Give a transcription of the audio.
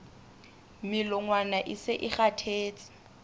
melongwana e seng e kgathetse